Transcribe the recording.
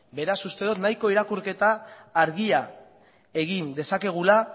beraz uste dot nahiko irakurketa argia egin dezakegula